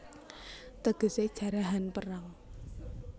Tegesé Jarahan Perang